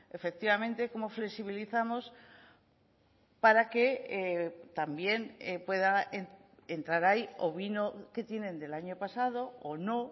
efectivamente cómo flexibilizamos para que también pueda entrar ahí o vino que tienen del año pasado o no